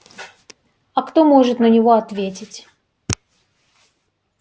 а кто может на него ответить